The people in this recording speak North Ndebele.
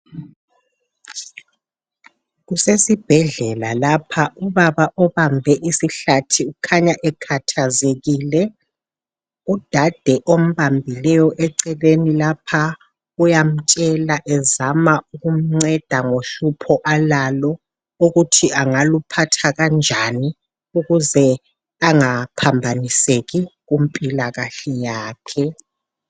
Kusesibhedlela lapha. Ubaba obambe isihlathi ukhanya ekhathazekile. Udade ombambileyo eceleni lapha uyamtshela ezama ukumnceda ngohlupho alalo ukuthi angaluphatha kanjani ukuze angaphambaniseki kumpilakahle yakhe.